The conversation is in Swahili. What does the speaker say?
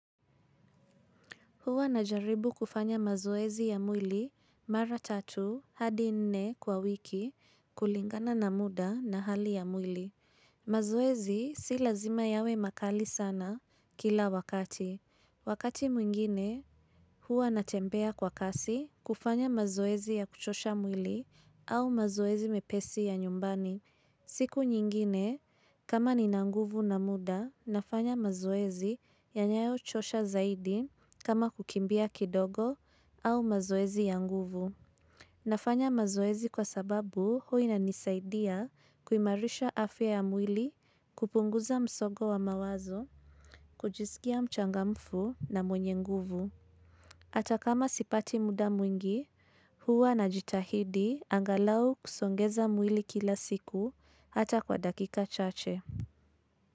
Huwa najaribu kufanya mazoezi ya mwili mara tatu hadi nne kwa wiki kulingana na muda na hali ya mwili. Mazoezi si lazima yawe makali sana kila wakati. Wakati mwingine huwa natembea kwa kasi kufanya mazoezi ya kuchosha mwili au mazoezi mepesi ya nyumbani. Siku nyingine, kama nina nguvu na muda, nafanya mazoezi yanayochosha zaidi kama kukimbia kidogo au mazoezi ya nguvu. Nafanya mazoezi kwa sababu huwa inanisaidia kuimarisha afya ya mwili kupunguza msongo wa mawazo, kujiskia mchangamfu na mwenye nguvu. Hata kama sipati muda mwingi, huwa najitahidi angalau kusogeza mwili kila siku hata kwa dakika chache.